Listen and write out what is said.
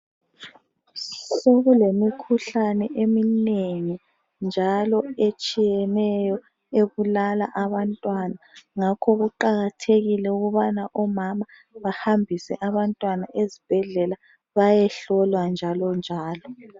Sokulemikhuhlane eminengi njalo etshiyeneyo ebulala abantwana , ngakho kuqakathekile ukubana omama bahambise abantwana ezibhedlela bayehlolwa njalonjalo